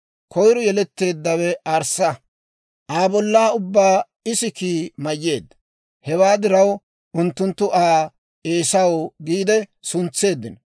Koyro yeletteeddawe arssa; Aa bollaa ubbaa isikii mayyeedda; hewaa diraw unttunttu Aa Eesaw giide suntseeddino.